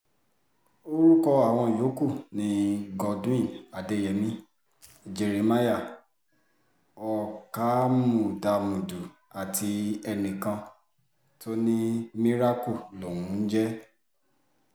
orúkọ àwọn yòókù ni godwin adeyemi jeremiah ọkámúdámùdù àti enìkan tó ní miracle lòún ń jẹ́